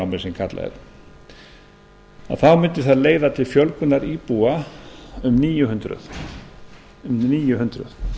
sem kallað er þá mundi það leiða til fjölgunar íbúa um níu hundruð um níu hundruð